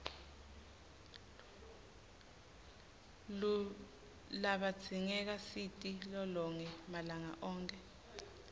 luibzingeka siti lolonge malanga onkhe